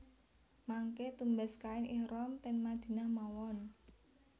Mangke tumbas kain ihram ten Madinah mawon